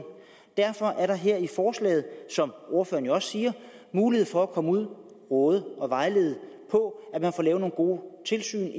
derfor er der her i forslaget som ordføreren jo også siger mulighed for at komme ud og råde og vejlede så man får lavet nogle gode tilsyn